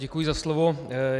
Děkuji za slovo.